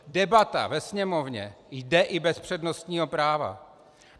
Debata ve Sněmovně jde i bez přednostního práva.